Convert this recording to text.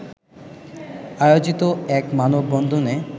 আয়োজিত এক মানববন্ধনে